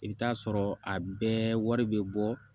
I bɛ taa sɔrɔ a bɛɛ wari bɛ bɔ